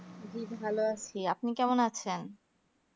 এই তো ভালো আছি আপনি কেমন আছেনা